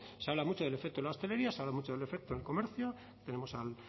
se habla mucho del efecto en la hostelería se habla mucho del efecto en el comercio tenemos